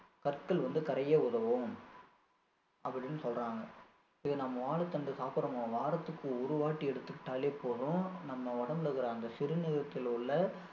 கற்கள் வந்து கரைய உதவும் அப்படின்னு சொல்றாங்க இது நம்ம வாழைத்தண்டு சாப்பிடுற மூலமா வாரத்துக்கு ஒரு வாட்டி எடுத்துக்கிட்டாலே போதும் நம்ம உடம்புல இருக்குற அந்த சிறுநீரகத்தில உள்ள